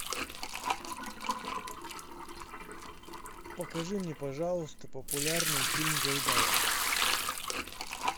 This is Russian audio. покажи мне пожалуйста популярный фильм гайдая